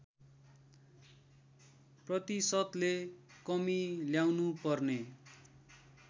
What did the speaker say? प्रतिशतले कमी ल्याउनुपर्ने